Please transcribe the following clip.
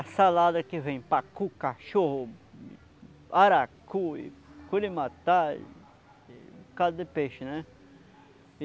A salada que vem, pacu, cachorro, aracu, culimatar, um bocado de peixe, né?